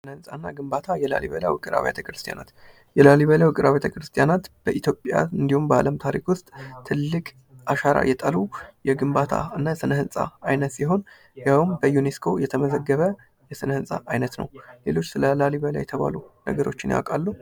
ህንጻ እና ግንባታ የላሊበላ ዉቅር አብያተ ክርስትያናት የላሊበላ ዉቅር አብያተ ክርስትያናት በኢትዮጵያ እንዲሁም በአለም ታሪክ ዉስጥ ትልቅ አሻራ የጣሉ የግንባታ እና ስነ ህንጻ ሲሆን ይሀው በዩኔስኮ የተመዘገበ የስነህንጻ አይነት ነው። ሌሎች ስለ ላሊበላ የተባሉ ነገሮች ያውቃሉ?